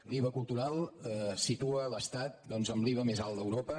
l’iva cultural situa l’estat amb l’iva més alt d’europa